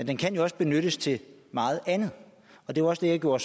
den kan jo også benyttes til meget andet og det var også det jeg gjorde